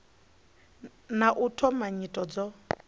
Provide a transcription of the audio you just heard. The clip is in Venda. na u thoma nyito dzo